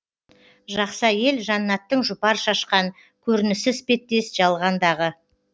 жақсы әйел жәннаттың жұпар шашқан көрінісі іспеттес жалғандағы